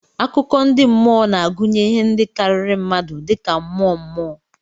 Akụkọ ndị mmụọ na-agụnye ihe ndị karịrị mmadụ dị ka mmụọ, mmụọ.